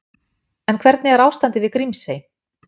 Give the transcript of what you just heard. En hvernig er ástandið við Grímsey?